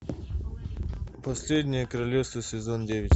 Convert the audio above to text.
последнее королевство сезон девять